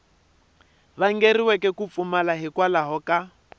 vangeriweke ku pfumala hikwalaho ka